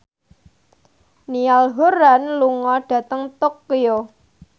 Niall Horran lunga dhateng Tokyo